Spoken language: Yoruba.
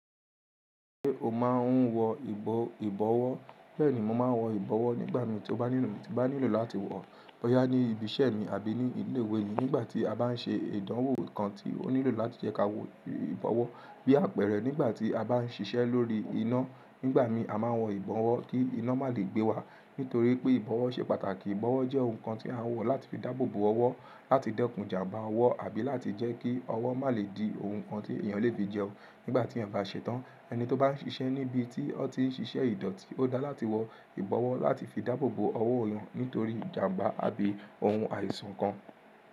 Ṣé o máa ń wọ ìbọ̀wọ́? Bẹ́ẹ̀ni, mo máa ń wọ ìbọ̀wọ́ nígbà mi tí mó bá nílò láti wọ̀ọ́ boyá ní ibi iṣẹ́ mi àbí ní ilé iwe mi nígbà tí a bá ń ṣe ìdánwò kan tí ó nílò láti jẹ́ ká wọ ìbọ̀wọ́ bí àpẹrẹ nígbà tí a bá ń ṣiṣẹ́ lórí iná. Nígbà mi a máa ń wọ ìbọ̀wọ́ kí iná má lè gbé wa, nítorí pé ìbọ̀wọ́ ṣe pàtàkì. Ìbọ̀wọ́ jẹ́ ohun kan tí a ń wọ̀ láti fi dáàbòbo ọwọ́ láti dẹ́kun ìjàmbá ọwọ́ àbí láti jẹ́ kí ọwọ́ má lè di ohun kan tí èèyàn lè fi jẹun nígbà tí ẹ́ bá ṣẹ́tán. Ẹni tó bá ń ṣiṣẹ́ níbi tí ó ti ń ṣiṣẹ́ ìdọ̀tí, ó dáa láti wọ ìbọ̀wọ́ láti fi dáàbòbo ọwọ́ wọn nítorí ìjàmbá àbí ohun àìsàn kan.